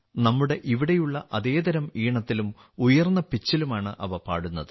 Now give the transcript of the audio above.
നമ്മുടെ ഇവിടെയുള്ള അതേതരം ഈണത്തിലും ഉയർന്ന പിച്ചിലുമാണ് അവ പാടുന്നത്